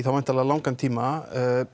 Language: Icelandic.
langan tíma